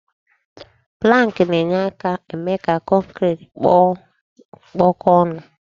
Pụlank na-enye aka eme ka kọnkri kpụkọ ọnụ.